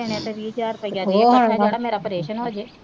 ਕਿਹ ਦੇਣੇ ਤਾਂ ਵੀਹ ਹਜ਼ਾਰ ਰੁਪਿਆ ਦੇ ਇਕੱਠਾ ਜੇੜਾ ਮੇਰਾ ਪ੍ਰੇਸ਼ਨ ਹੋ ਜੇ,